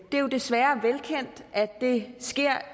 det er jo desværre velkendt at det sker